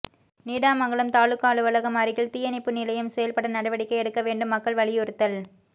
நீடாமங்கலம் தாலுகா அலுவலகம் அருகில் தீயணைப்பு நிலையம் செயல்பட நடவடிக்கை எடுக்க வேண்டும் மக்கள் வலியுறுத்தல்